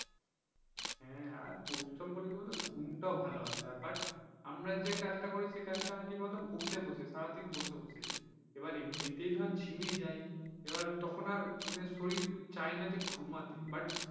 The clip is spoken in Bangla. হ্যাঁ আর পরিশ্রম করলে বলতো ঘুমটাও ভালো আসে but আমরা যে কাজটা করি সে কাজটা আর কি বসে বসে, সারাদিন বসে বসে এবার এমনিতেই ধরো ঝিমিয়ে যায় এবার তখন আর মানে শরীর চায়না যে আর ঘুমাতে।